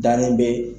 Dalen bɛ